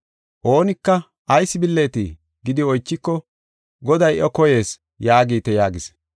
Oonika, ‘Ayis billeetii?’ gidi oychiko, ‘Goday iya koyees’ yaagite” yaagis.